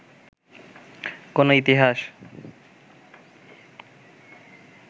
কোনো ইতিহাস